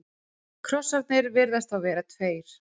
Krossarnir virðast þá vera tveir.